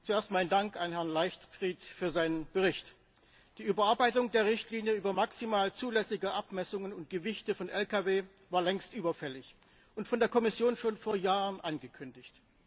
Zuerst mein Dank an Herrn Leichtfried für seinen Bericht. Die Überarbeitung der Richtlinie über maximal zulässige Abmessungen und Gewichte von Lkw war längst überfällig und von der Kommission schon vor Jahren angekündigt.